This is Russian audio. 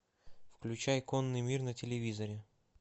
включай конный мир на телевизоре